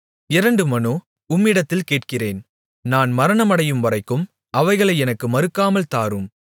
இரண்டு மனு உம்மிடத்தில் கேட்கிறேன் நான் மரணமடையும்வரைக்கும் அவைகளை எனக்கு மறுக்காமல் தாரும்